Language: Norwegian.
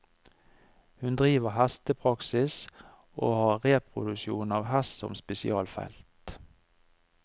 Hun driver hestepraksis, og har reproduksjon av hest som spesialfelt.